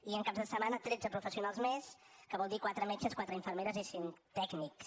i en caps de setmana tretze professionals més que vol dir quatre metges quatre infermeres i cinc tècnics